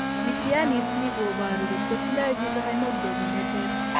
Mityaaniit ni ko boru kot ko tindo chiito hemoglobin ne ter.